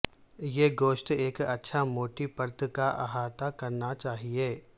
یہ گوشت ایک اچھا موٹی پرت کا احاطہ کرنا چاہئے